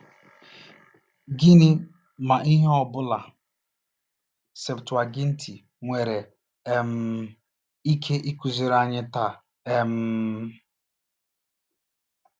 Gịnị, ma ihe ọbụla, Septụaginti nwere um ike ịkụziri anyị taa um?